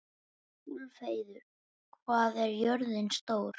Úlfheiður, hvað er jörðin stór?